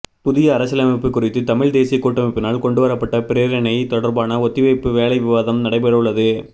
புதிய அரசியலமைப்பு குறித்து தமிழ் தேசியக் கூட்டமைப்பினால் கொண்டுவரப்பட்ட பிரேரணை தொடர்பான ஒத்திவைப்பு வேளை விவாதம் நடைபெறவுள்ளது